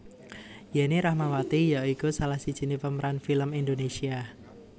Yenny Rahmawati ya iku salah sijiné pemeran film Indonésia